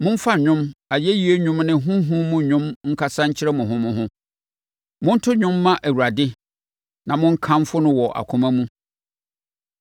Momfa nnwom, ayɛyie nnwom ne honhom mu nnwom nkasa nkyerɛ mo ho mo ho. Monto dwom mma Awurade na monkamfo no wɔ akoma mu,